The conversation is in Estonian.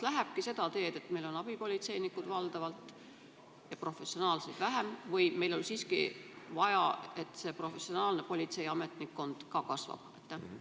Kas minnakse seda teed, et valdavalt on abipolitseinikud ja professionaalseid politseinikke on vähem, või on meil siiski vaja, et ka professionaalne politseiametnikkond kasvab?